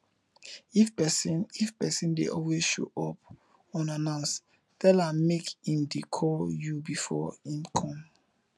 if person if person de always show up unannounced tell am make im de call you before im come